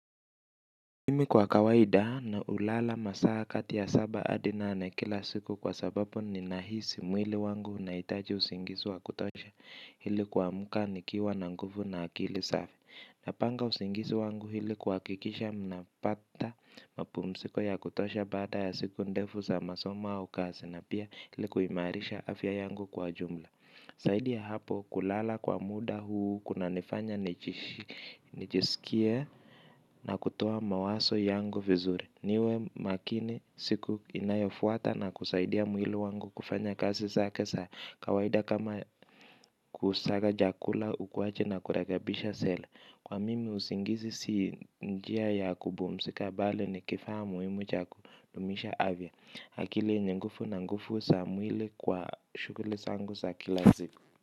Mimi kwa kawaida na ulala masaa kati ya saba adi nane kila siku kwa sababu ni nahisi mwili wangu unahitaji usingizi wa kutosha ili kuamka nikiwa na nguvu na akili safi. Napanga usingizi wangu ili kuhakikisha napata mapumziko ya kutosha bada ya siku ndefu za masomo au kazi na pia ili kuimarisha afya yangu kwa jumla zaidi ya hapo kulala kwa muda huu, kuna nifanya nijisikie na kutoa mawazo yangu vizuri. Niwe makini siku inayofuata na kusaidia mwili wangu kufanya kazi zake za kawaida kama kusaga jakula ukuwaji na kurekebisha seli. Kwa mimi usingizi si njia ya kupumzika bali ni kifaa muhimu cha kudumisha afya akili ni nguvu na nguvu za mwili kwa shukuli zangu sa kila siku.